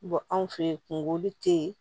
anw fɛ yen kunkolo te yen